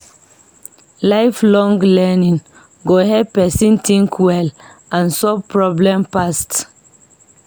Lifelong learning go help person think well and solve problem fast.